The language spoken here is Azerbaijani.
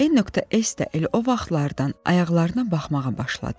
N.S də elə o vaxtlardan ayaqlarına baxmağa başladı.